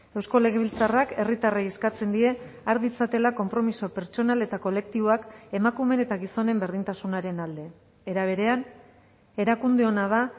eusko legebiltzarrak herritarrei eskatzen die har ditzatela konpromiso pertsonal eta kolektiboak emakumeen eta gizonen berdintasunaren alde era berean erakundeona da